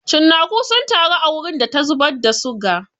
Cinnaku sun taru a wurin da ta zubar da suga.